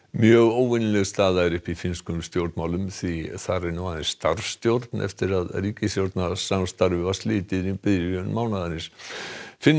mjög óvenjuleg staða er uppi í finnskum stjórnmálum því þar er nú aðeins starfsstjórn eftir að ríkisstjórnarsamstarfi var slitið í byrjun mánaðarins Finnar